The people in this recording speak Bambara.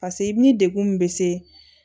paseke i bi degun min be se